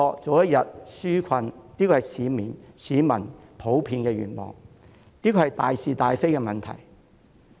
這是市民普遍的願望，亦是大是大非的問題。